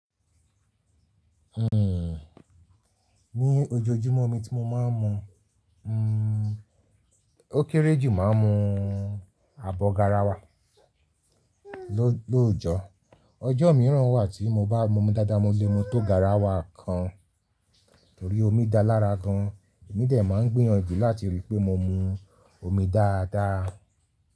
Hmm, ní ojoojúmọ́ omi tí mo máa ń mu, hmm, ó kéré jù máa ń mu ààbọ̀ garawa lóòjọ́. Ọjọ́ mìíràn wà tí mo bá mu mu dáadáa, mo lè mu tó garawa kan torí omi dáa lára gan an. Èmi dẹ̀ máa ń gbìyànjú láti rí pé mo mu omi dáradára.